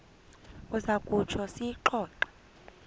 uza kutsho siyixoxe